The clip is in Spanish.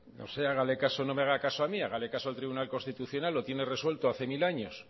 no me haga caso a mí hágale caso al tribunal constitucional que lo tiene resuelto hace mil años